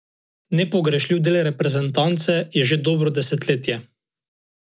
Nepogrešljiv del reprezentance je že dobro desetletje.